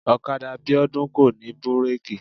ọ̀kadà Bíọ́dún kò ní bírèkì